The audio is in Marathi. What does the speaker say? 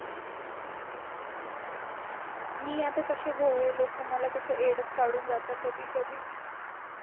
मी आता कशी भोळी लोक मला कसे वेड्यात काढून जातात कधी कधी